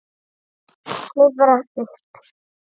Klifrar upp.